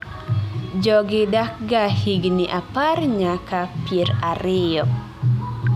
jogi dakga higni apar nyaka pier ariyo